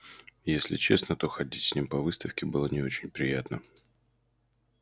если честно то ходить с ним по выставке было не очень приятно